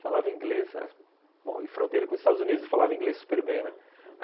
Falava inglês, bom, em fronteira com os Estados Unidos, e falava inglês super bem, né? uhum, uhum.